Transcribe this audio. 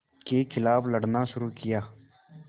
के ख़िलाफ़ लड़ना शुरू किया